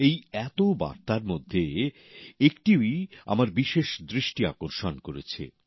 এই এতো বার্তার মধ্যে একটি আমার বিশেষ দৃষ্টি আকর্ষন করেছে